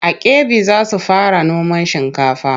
A Kebbi za su fara noman shinkafa.